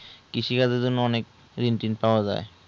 কৃষিকাজ এর জন্য অনেক রিন্ টিন পাওয়া যাই